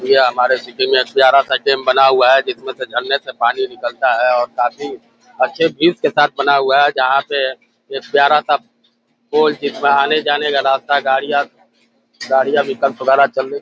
यह हमारा के डैम बना हुआ है। जिस से झरने से पानी निकलता है और काफी अच्छे सेटअप बना हुआ है। जहाँ पे एक प्यारा सा पुल है जिसमें आने-जाने का रास्ता गाड़ियाँ गाड़ियाँ निकल --